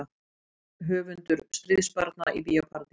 Höfundur Stríðsbarna í Bíó Paradís